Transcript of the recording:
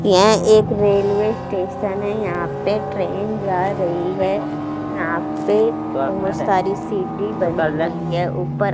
यहां एक railway station है यहां पे ट्रेन जा रही है यहां पे बहुत सारी सीटी बज रही है ऊपर--